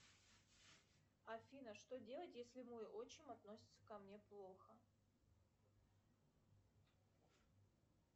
афина что делать если мой отчим относится ко мне плохо